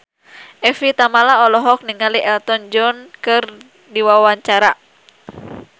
Evie Tamala olohok ningali Elton John keur diwawancara